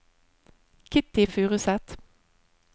Kitty Furuseth